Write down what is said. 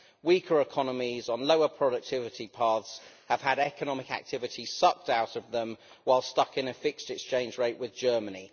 Weaker economies on lower productivity paths have had economic activity sucked out of them while stuck in a fixed exchange rate with Germany.